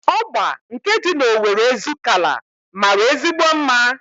Ọgba nke dị n'Owere Ezukalla mara ezigbo mma